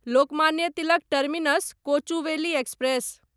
Lokmanya Tilak terminus Kochuveli express